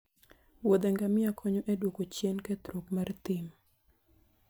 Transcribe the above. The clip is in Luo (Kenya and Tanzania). wuodhe ngamia konyo e duoko chien kethruok mar thim